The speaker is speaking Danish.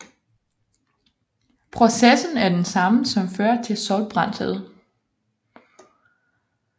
Processen er den samme som fører til solbrændthed